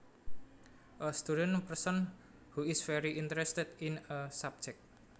A student person who is very interested in a subject